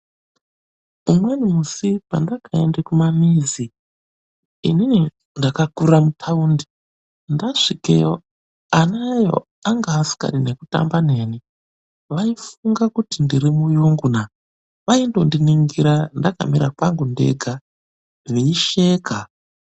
Umweni musi pandakenda kumamizi. Inini ndakakurira muthaundi. Ndasvikeyo ana eyo anga asingadi nekutamba neni. Vaifunge kuti ndiri muyungunaa. Vaindondiningira ndakamira pangu ndega veisheka.